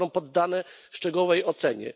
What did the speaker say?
zostaną poddane szczegółowej ocenie.